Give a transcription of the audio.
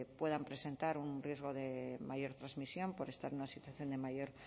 puedan presentar un riesgo de mayor transmisión por estar en una situación de mayor